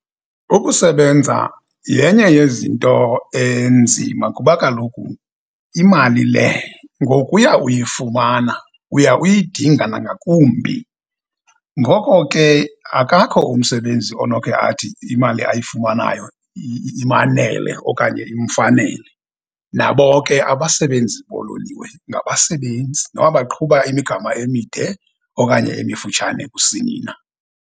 Ukusebenza yenye yezinto enzima kuba kaloku imali le ngokuya uyifumana uya uyidinga nangakumbi. Ngoko ke, akakho umsebenzi onokhe athi imali ayifumanayo imanele okanye imfanele. Nabo ke abasebenzi boololiwe ngabasebenzi, noba baqhuba imigama emide okanye emifutshane kusini na.